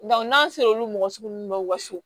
n'an sera olu mɔgɔ sugu ninnu ma u ka so